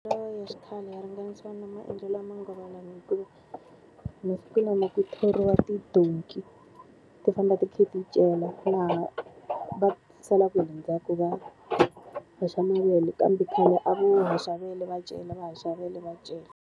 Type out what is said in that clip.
Maendlelo ya xikhale ya ringanisiwa na maendlelo ya manguva lawa hikuva, masiku lama ku thoriwa tidonki ti famba ti kha ti cela laha va salaku hi le ndzhaku va haxa mavele kambe khale a vo haxa vele va cela va haxa vele va cela.